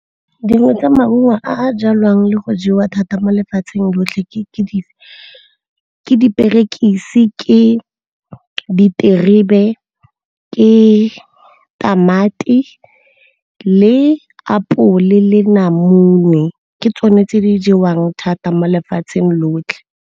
Dingwe tsa maungo a jalwang le go jewa thata mo lefatsheng lotlhe ke diperekisi, ke diterebe, ke tamati le apole, le namune. Ke tsone tse di jewang thata mo lefatsheng lotlhe.